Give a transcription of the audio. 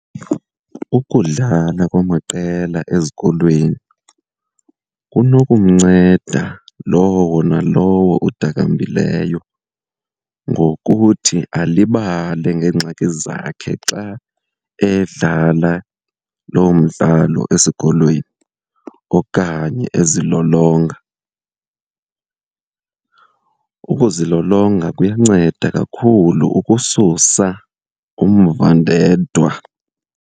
Ukudlala kwamaqela ezikolweni kunokumnceda lowo nalowo udakambileyo ngokuthi alibale ngeengxaki zakhe xa edlala lo mdlalo esikolweni okanye ezilolonga. Ukuzilolonga kuyanceda kakhulu ukususa umvandedwa.